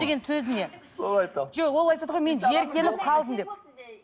сөзіне соны айтамын жоқ ол айтыватыр ғой мен жиіркеніп қалдым деп